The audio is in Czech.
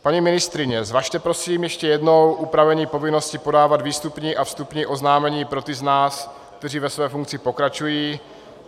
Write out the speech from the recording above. Paní ministryně, zvažte prosím ještě jednou upravení povinnosti podávat výstupní a vstupní oznámení pro ty z nás, kteří ve své funkci pokračují.